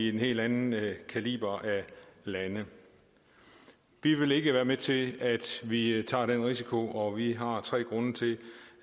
en helt anden kaliber af lande vi vil ikke være med til at vi tager den risiko og vi har tre grunde til